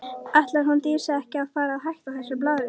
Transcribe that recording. Ætlar hún Dísa ekki að fara að hætta þessu blaðri?